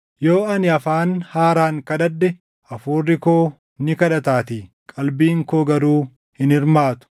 Yoo ani afaan haaraan kadhadhe hafuurri koo ni kadhataatii; qalbiin koo garuu hin hirmaatu.